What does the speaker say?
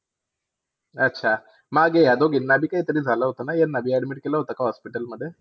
अच्छा! मागे या दोघीना काहीतरी झालं होतं का ह्यांना? Admit केलं होतं का hospital मध्ये?